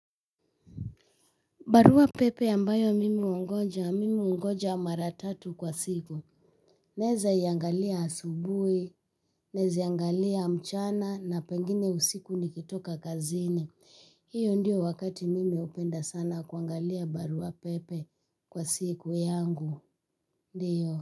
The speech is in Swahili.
Barua pepe ambayo mimi hungoja, mimi hungoja mara tatu kwa siku. Naweza iangalia asubuhi, naweza iangalia mchana na pengine usiku nikitoka kazini. Hiyo ndio wakati mimi hupenda sana kuangalia barua pepe kwa siku yangu. Ndiyo.